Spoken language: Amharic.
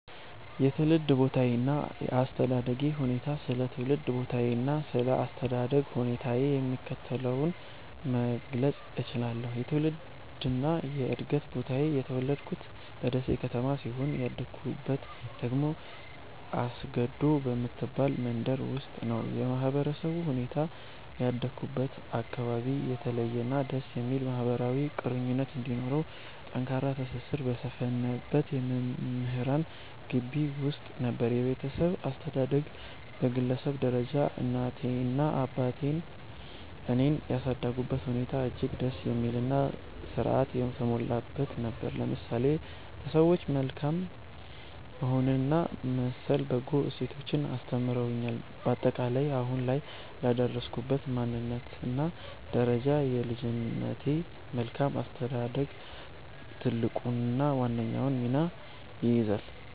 የትውልድ ቦታዬና የአስተዳደግ ሁኔታዬ ስለ ትውልድ ቦታዬና ስለ አስተዳደግ ሁኔታዬ የሚከተለውን መግለጽ እችላለሁ፦ የትውልድና የዕድገት ቦታዬ፦ የተወለድኩት በደሴ ከተማ ሲሆን፣ ያደግኩት ደግሞ አስገዶ በምትባል መንደር ውስጥ ነው። የማህበረሰቡ ሁኔታ፦ ያደግኩበት አካባቢ የተለየና ደስ የሚል ማህበራዊ ቁርኝት እንዲሁም ጠንካራ ትስስር በሰፈነበት የመምህራን ግቢ ውስጥ ነበር። የቤተሰብ አስተዳደግ፦ በግለሰብ ደረጃ እናቴና አባቴ እኔን ያሳደጉበት ሁኔታ እጅግ ደስ የሚልና ሥርዓት የተሞላበት ነበር፤ ለምሳሌ ለሰዎች መልካም መሆንንና መሰል በጎ እሴቶችን አስተምረውኛል። ባጠቃላይ፦ አሁን ላይ ለደረስኩበት ማንነትና ደረጃ የልጅነቴ መልካም አስተዳደግ ትልቁንና ዋነኛውን ሚና ይይዛል።